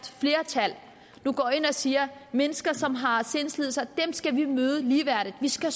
flertal nu går ind og siger at mennesker som har sindslidelser skal vi møde ligeværdigt vi skal